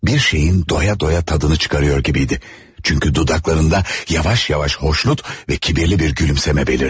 Bir şeyin doya-doya dadını çıxarır kimiydi, çünki dodaqlarında yavaş-yavaş xoşnut və kibirli bir gülümsəmə bəlirdi.